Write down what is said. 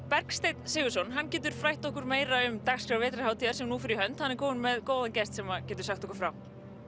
Bergsteinn Sigurðsson getur frætt okkur meira um dagskrá vetrarhátíðar sem nú fer í hönd hann er kominn með góðan gest sem getur sagt okkur frá